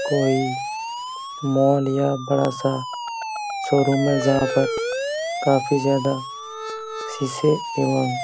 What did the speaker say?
कोई मॉल या बड़ा सा शोरूम है जहाँ पर काफी ज्यादा शीशे एवं--